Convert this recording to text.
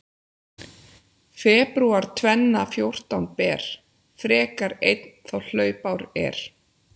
Febrúar tvenna fjórtán ber, frekar einn þá hlaupár er.